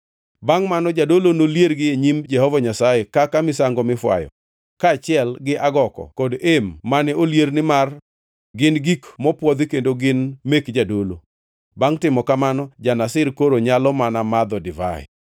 Bangʼ mano jadolo noliergi e nyim Jehova Nyasaye kaka misango mifwayo; kaachiel gi agoko kod em mane olier nimar gin gik mopwodhi kendo gin mek jadolo. Bangʼ timo kamano, ja-Nazir koro nyalo mana madho divai.